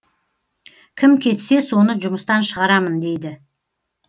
кім кетсе соны жұмыстан шығарамын дейді